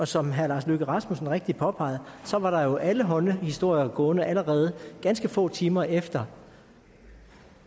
som herre lars løkke rasmussen rigtigt påpegede var der jo allehånde historier gående allerede ganske få timer efter